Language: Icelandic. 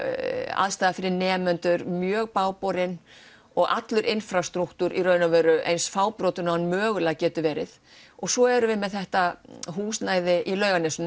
aðstaða fyrir nemendur mjög bágborin og allur infrastrúktúr í raun og veru eins fábrotinn og hann mögulega getur verið og svo erum við með þetta húsnæði í